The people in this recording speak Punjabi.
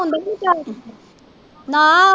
ਨਾ।